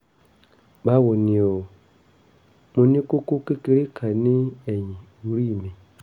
báwo ni o? mo ní kókó kékeré kan ní ẹ̀yìn orí mi